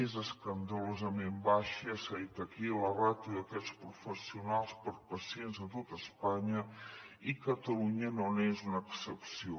és escandalosament baixa ja s’ha dit aquí la ràtio d’aquests professionals per pacients a tot espanya i catalunya no n’és una excepció